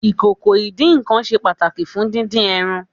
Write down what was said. Ìkòkò ìdín-nǹkan ṣe pàtàkì fún dídín ẹran.